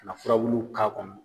Ka an furabulu k'a kɔnɔ